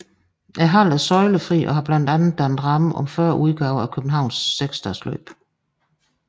Hallen er søjlefri og har blandt andet dannet ramme om 40 udgaver af Københavns seksdagesløb